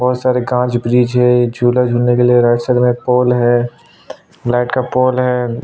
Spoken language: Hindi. बहोत सारा कांच बीजेज है झूला झूलने के लिए राइट साइड मे एक पोल हैं लाइट का पोल हैं।